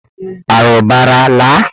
Arụbara laa!